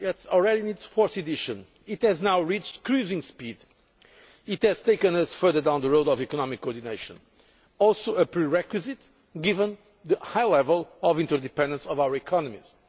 It is already in its fourth edition, it has now reached cruising speed. It has taken us further down the road of economic coordination, which is also a prerequisite given the high level of interdependence of our economies.